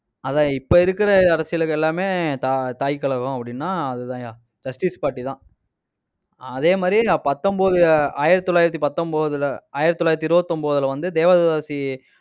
அதான், இப்ப இருக்கிற அரசியலுக்கு எல்லாமே தா~ தாய் கழகம் அப்படின்னா அதுதான்யா. justice party தான். ஆஹ் அதே மாதிரி, பத்தொன்பது ஆயிரத்தி தொள்ளாயிரத்தி பத்தொன்பதுல ஆயிரத்தி தொள்ளாயிரத்தி இருபத்தி ஒன்பதுல வந்து தேவதாசி